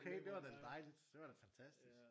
Okay det var da dejligt det var da fantastisk